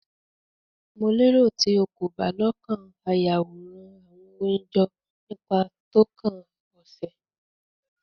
Mo lero ti o ko ba lokan a Yaworan awọn oyin jọ nipa tókàn ose